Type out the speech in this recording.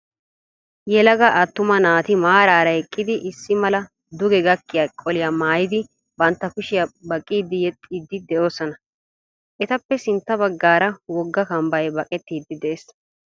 Yelaga attuma naati maaraara eqqidi issi mala duge gakkiya qoliyaa maayidi bantta kushiya baqqiiddi yexxiiddi de'oosona. Etappe sintta baggaara wogga kammbbay baqettiiddi de'ees.